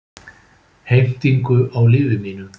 Heimtingu á lífi mínu.